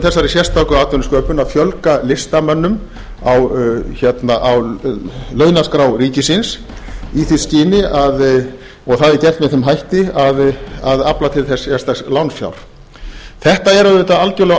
sérstöku atvinnusköpun að fjölga listamönnum á launaskrá ríkisins í því skyni og það er gert með þeim hætti að afla til þess sérstaks lánfjár þetta er auðvitað algerlega